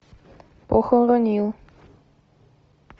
похоронил